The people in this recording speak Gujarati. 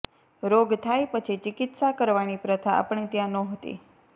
રોગ થાય પછી ચિકિત્સા કરવાની પ્રથા આપણે ત્યાં નહોતી